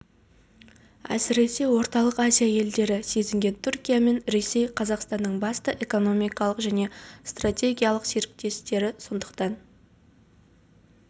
әсіресе орталық азия елдері сезінген түркия мен ресей қазақстанның басты экономикалық және стратегиялық серіктестері сондықтан